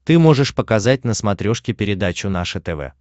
ты можешь показать на смотрешке передачу наше тв